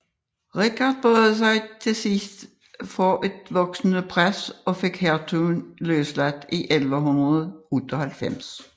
Richard bøjede sig til sidst for et voksende pres og fik hertuginden løsladt i 1198